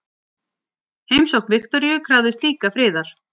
Heimsókn Viktoríu krafðist líka friðar.